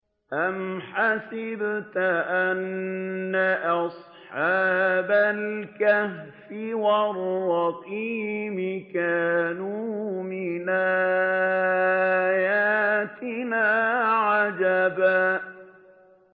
أَمْ حَسِبْتَ أَنَّ أَصْحَابَ الْكَهْفِ وَالرَّقِيمِ كَانُوا مِنْ آيَاتِنَا عَجَبًا